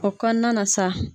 O kɔnɔna na sa.